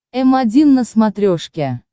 м один на смотрешке